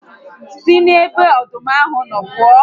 Si n'ebe ọdụm ahụ nọ pụọ